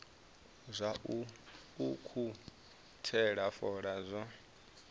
zwa u ukhuthela fola zwo